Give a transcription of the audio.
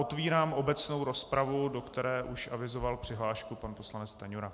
Otvírám obecnou rozpravu, do které už avizoval přihlášku pan poslanec Stanjura.